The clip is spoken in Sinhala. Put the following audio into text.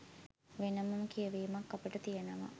වෙනම කියවීමක් අපට තියෙනව.